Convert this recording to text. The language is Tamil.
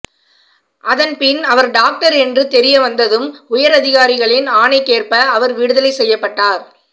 அதன்பின் அவர் டாக்டர் என்று தெரியவந்ததும் உயரதிகாரிகளின் ஆணைக்கேற்ப அவர் விடுதலை செய்யப்பட்டார்